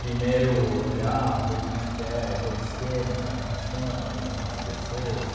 Primeiro olhar, ver como é que é todo o esquema, como funciona, como são as pessoas.